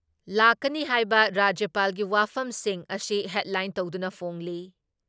ꯂꯥꯛꯀꯅꯤ ꯍꯥꯏꯕ ꯔꯥꯖ꯭ꯌꯄꯥꯜꯒꯤ ꯋꯥꯐꯝꯁꯤꯡ ꯑꯁꯤ ꯍꯦꯗꯂꯥꯏꯟ ꯇꯧꯗꯨꯅ ꯐꯣꯡꯂꯤ ꯫